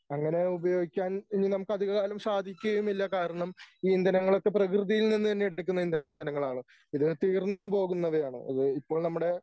അങ്ങനെ ഉപയോഗിക്കാൻ ഇനി നമക്ക് അധികകാലം സാധിക്കുകയുമില്ല കാരണം ഈ ഇന്ധനങ്ങളൊക്കെ പ്രകൃതിയിൽ നിന്ന് തന്നെ എടുക്കുന്ന ഇന്ധനങ്ങളാണ് ഇത് തീർന്നു പോകുന്നവയാണ് അത് ഇപ്പോൾ നമ്മുടെ